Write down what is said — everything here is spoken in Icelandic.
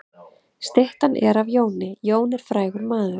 Styttan er af Jóni. Jón er frægur maður.